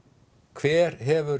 hver hefur